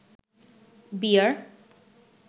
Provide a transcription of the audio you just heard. বিয়ার